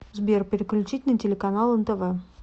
сбер переключить на телеканал нтв